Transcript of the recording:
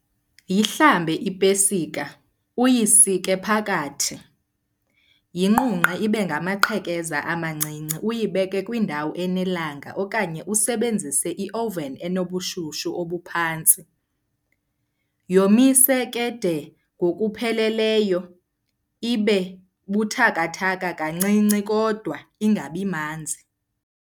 Yihlambe ipesika uyisike phakathi. Yinqunqe ibe ngamaqhekeza amancinci uyibeke kwindawo enelanga okanye usebenzise i-oven enobushushu obuphantsi. Yomise ke de ngokupheleleyo ibe buthakathaka kancinci kodwa ingabi manzi.